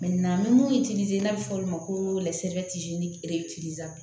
an bɛ mun n'a bɛ fɔ o ma ko